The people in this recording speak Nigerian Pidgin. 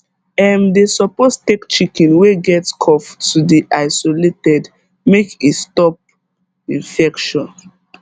um dem suppose take chicken wey get cough to d isolated make e stop infection